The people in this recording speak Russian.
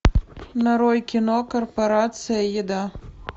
нарой кино корпорация еда